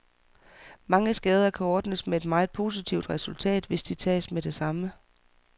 Mange skader kan ordnes med et meget positivt resultat, hvis de tages med det samme.